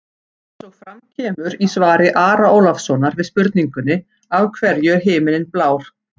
Eins og fram kemur í svari Ara Ólafssonar við spurningunni Af hverju er himinninn blár?